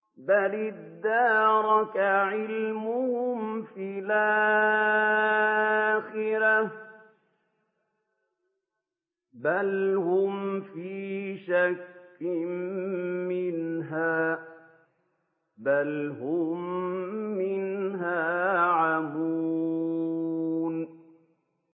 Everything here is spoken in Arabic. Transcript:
بَلِ ادَّارَكَ عِلْمُهُمْ فِي الْآخِرَةِ ۚ بَلْ هُمْ فِي شَكٍّ مِّنْهَا ۖ بَلْ هُم مِّنْهَا عَمُونَ